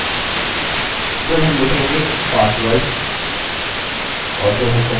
अंतिम repeat password है अतः उसे टाइप करें